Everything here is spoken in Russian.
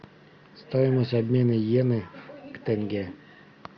стоимость обмена йены к тенге